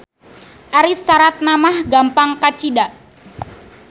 Ari saratna mah gampang kacida.